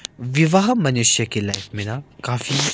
विवाह मनुष्य की लाइफ में ना काफी--